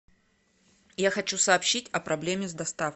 я хочу сообщить о проблеме с доставкой